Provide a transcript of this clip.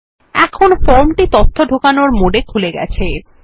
এখন ফর্মটি তথ্য ঢোকানোর মোড এ খুলে গেছে